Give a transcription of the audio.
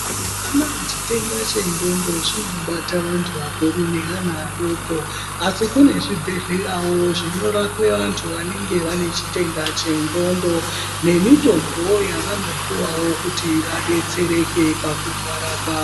Mazuwa anaya chitenda chendxondo chinobata vantu vakuru neana adoko asi kune zvibhehlerawo zvinorape vantu vanenge vane chitenda chendxondo nemitombowo yavanopuwawo kuti vadetsereke pakurwara kwavo.